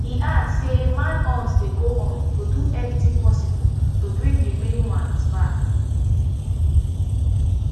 e add say manhunt dey go on to do everything possible to bring di remaining ones back